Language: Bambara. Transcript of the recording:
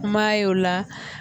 M'a ye o la